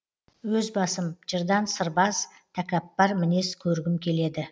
өз басым жырдан сырбаз такаппар мінез көргім келеді